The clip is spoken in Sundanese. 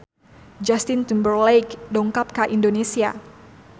Justin Timberlake dongkap ka Indonesia